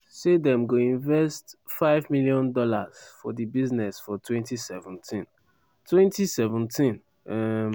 say dem go invest us$5 million for di business for 2017. 2017. um